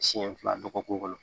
Siɲɛ fila dɔgɔkun kɔnɔ